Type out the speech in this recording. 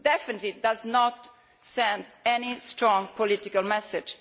It definitely does not send any strong political message.